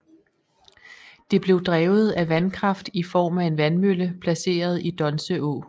Det blev drevet af vandkraft i form af en vandmølle placeret i Donse Å